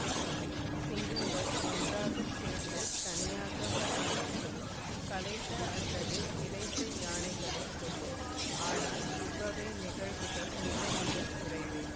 சிங்கங்கள் ஒன்றாக சேர்ந்து தனியாக வர நேரிடும் களைத்த அல்லது இளைத்த யானைகளை கொல்லும் ஆனால் இவ்வகை நிகழ்வுகள் மிக மிக குறைவே